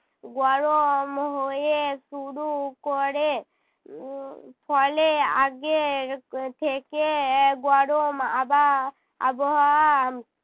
গরম হয়ে শুরু করে। উহ ফলে আগের থেকে গরম আবা~ আবহাওয়া